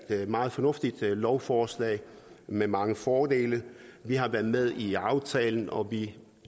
meget fornuftigt lovforslag med mange fordele vi har været med i aftalen og vi